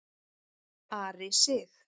Ari Sig.